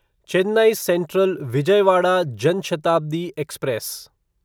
Chennai Central Vijayawada Jan Shatabdi express